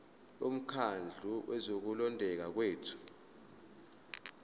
bomkhandlu wokulondeka kwethu